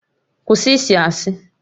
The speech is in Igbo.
Kwụsị ịsị asị!